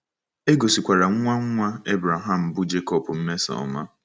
E gosikwara nwa nwa Abraham bụ́ Jecob mmesoọma.